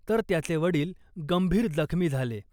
तर त्याचे वडील गंभीर जखमी झाले .